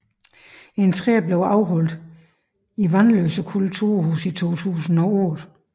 En tredje blev afholdt i Vanløse Kulturhus i 2008